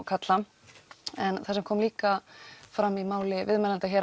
kalla en það sem kom líka fram hjá viðmælandanum